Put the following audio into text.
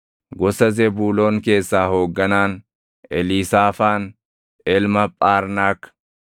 gosa Zebuuloon keessaa hoogganaan, Eliisaafaan ilma Phaarnaak;